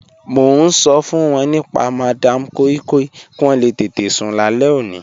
Mọ̀ n ṣọ fun wọn nípa Madam Koi Koi kí wọn lè tẹtẹ̀ sún làlẹ̀ ọ̀ní.